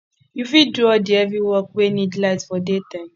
you fit do all di heavy work wey need light for day time